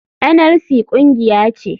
NLC kungiya ce.